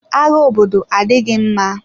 Agha obodo adịghị mma.